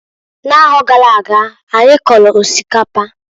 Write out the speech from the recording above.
N'aro gara aga, anyi kọlụ osikapa.